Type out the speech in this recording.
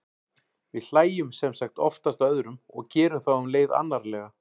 við hlæjum sem sagt oftast að öðrum og gerum þá um leið annarlega